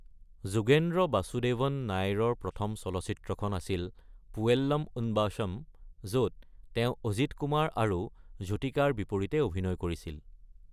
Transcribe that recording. যুগেন্দ্ৰ বাসুদেৱন নাইৰৰ প্ৰথম চলচ্চিত্ৰখন আছিল পুৱেল্লম উন বসম, য'ত তেওঁ অজিত কুমাৰ আৰু জ্যোতিকাৰ বিপৰীতে অভিনয় কৰিছিল।